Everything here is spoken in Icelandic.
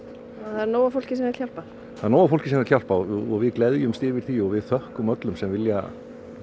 það er nóg af fólki sem vill hjálpa það er nóg af fólki sem vill hjálpa og við gleðjumst yfir því og við þökkum öllum sem vilja